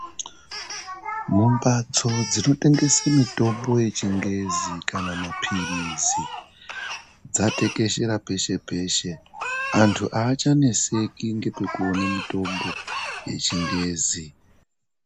Mumbatso dzinotengese mitombo yechingezi kana maphirizi, dzatekeshera peshe-peshe. Antu hachaneseki nekwekuone mitombo yechingezi.